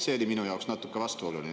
See oli minu arvates natuke vastuoluline.